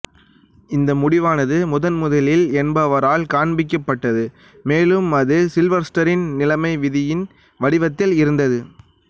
இந்த முடிவானது முதன் முதலில் என்பவரால் காண்பிக்கப்பட்டது மேலும் அது சில்வெஸ்டெரின் நிலைம விதியின் வடிவத்தில் இருந்தது